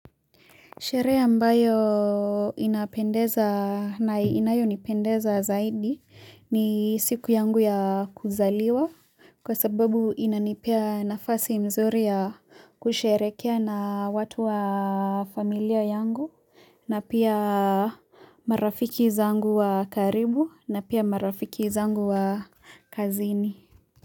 Sherehe ambayo inapendeza na inayo nipendeza zaidi ni siku yangu ya kuzaliwa kwa sababu inanipea nafasi mzuri ya kusherekea na watu wa familia yangu na pia marafiki zangu wa karibu na pia marafiki zangu wa kazini.